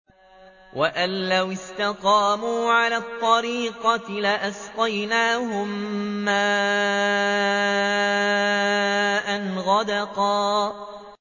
وَأَن لَّوِ اسْتَقَامُوا عَلَى الطَّرِيقَةِ لَأَسْقَيْنَاهُم مَّاءً غَدَقًا